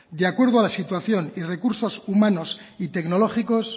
de acuerdo a la situación y recursos humanos y tecnológicos